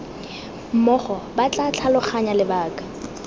mmogo ba tla tlhaloganya lebaka